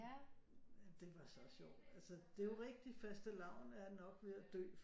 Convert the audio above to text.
Det var så også jo altså det er rigtigt fastelavn er jo nok ved at dø